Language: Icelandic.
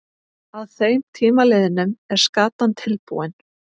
Að þeim tíma liðnum er skatan tilbúin.